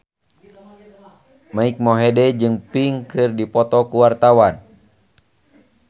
Mike Mohede jeung Pink keur dipoto ku wartawan